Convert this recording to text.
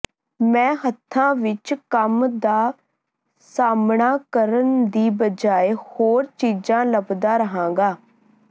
ਮੈਂ ਹੱਥਾਂ ਵਿਚ ਕੰਮ ਦਾ ਸਾਹਮਣਾ ਕਰਨ ਦੀ ਬਜਾਏ ਹੋਰ ਚੀਜ਼ਾਂ ਲੱਭਦਾ ਰਹਾਂਗਾ